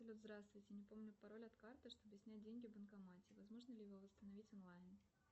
салют здравствуйте не помню пароль от карты чтобы снять деньги в банкомате возможно ли его восстановить онлайн